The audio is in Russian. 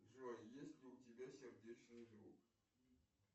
джой есть ли у тебя сердечный друг